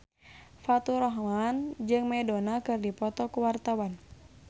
Faturrahman jeung Madonna keur dipoto ku wartawan